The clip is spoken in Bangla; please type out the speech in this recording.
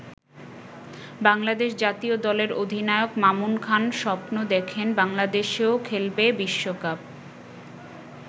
বাংলাদেশ জাতীয় দলের অধিনায়ক মামুন খান স্বপ্ন দেখেন বাংলাদেশও খেলবে বিশ্বকাপ।